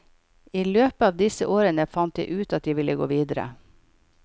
I løpet av disse årene fant jeg ut at jeg ville gå videre.